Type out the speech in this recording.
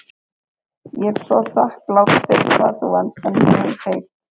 Ég er svo þakklát fyrir hvað þú elskar mig heitt.